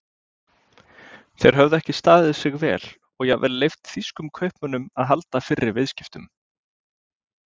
Þeir höfðu ekki staðið sig vel og jafnvel leyft þýskum kaupmönnum að halda fyrri viðskiptum.